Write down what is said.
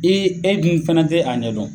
I e dun fɛnɛ te a ɲɛdɔn